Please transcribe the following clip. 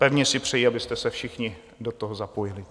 Pevně si přeji, abyste se všichni do toho zapojili.